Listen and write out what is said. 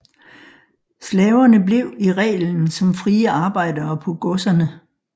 Slaverne blev i reglen som frie arbejdere på godserne